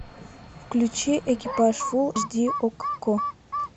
включи экипаж фул эйч ди окко